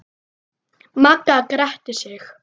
Magga gretti sig.